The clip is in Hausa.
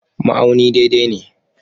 Ma'auni daidai ne.